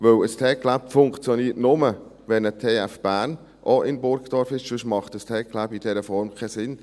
Denn ein TecLab funktioniert nur, wenn eine TF Bern auch in Burgdorf ist, sonst macht das TecLab in dieser Form keinen Sinn.